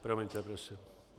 Promiňte prosím.